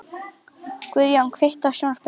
Guðjóna, kveiktu á sjónvarpinu.